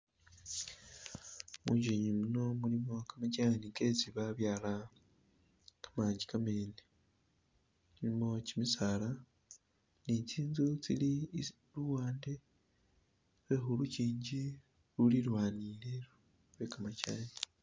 Munjinji muno mulimo kamajani kesi ba byaala kamanji kamene , mulimo kimisaala ne tsinzu tsili luwande lwe khulukingi ululilwanile lwekamajani.